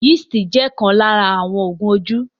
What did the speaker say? Yeast jẹ̀ ọ̀kan lára àwọn Oògùn ojú